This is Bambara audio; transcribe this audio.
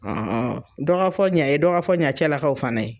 dɔ ka fɔ ɲa ye dɔ ka fɔ ɲa cɛ lakaw fana ye.